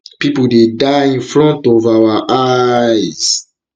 pipo dey die in front um of of our eyes